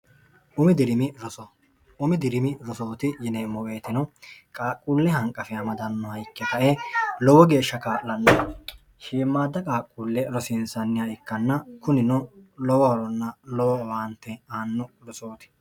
umi dirimi rosooti yineemmo weetino qaaqquulle hanqafi amadannoha ikke kae lowo geeshsha kaa'lanna hiimmaadda qaaqquulle rosiinsanniha ikkanna kunino lowo horonna lowo waante aanno rosooti